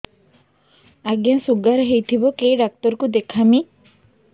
ଆଜ୍ଞା ଶୁଗାର ହେଇଥିବ କେ ଡାକ୍ତର କୁ ଦେଖାମି